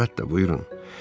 Əlbəttə, buyurun.